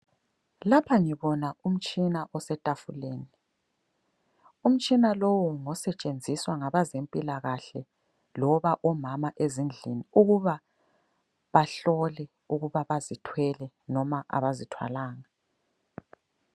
Lapha ngibona umtshina osetafuleni, umtshina lowu ngosetshenziswa ngabezempilakahle loba omama ezindlini ukuba bahlole ukuba bazithwele noma abazithwalanga.